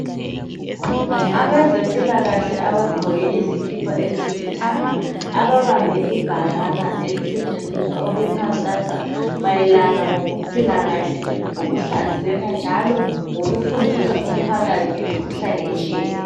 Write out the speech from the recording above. Abezempilakahle abagqoke izikipa ezilithanga ababambe ibhakana elisetshenziswa ukukhankasa mayelana ngokuphila kahle lokuhlanzeka njalo lokufundisa umphakathi ngemikhuhlane etshiyeneyo.